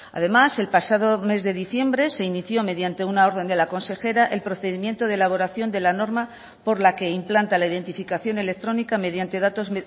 además el pasado mes de diciembre se inició mediante una orden de la consejera el procedimiento de elaboración de la norma por la que implanta la identificación electrónica mediante datos